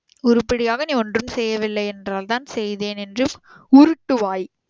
உருப்பிடியாக நீ ஒன்றும் செய்யவில்லை என்றால் தான் செய்தேன் என்று உருட்டுவாய்